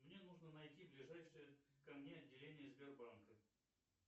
мне нужно найти ближайшее ко мне отделение сбербанка